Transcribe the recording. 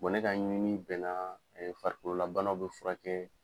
Bɔn ne ka ɲini bɛna farikolo labanaw be furakɛ